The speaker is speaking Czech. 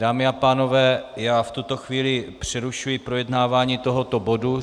Dámy a pánové, já v tuto chvíli přerušuji projednávání tohoto bodu.